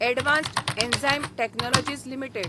advanced enzyme technologies limited